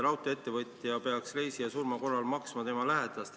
Ma ei jäänud küll kuulama, aga see jahmatas.